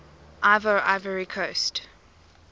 ivoire ivory coast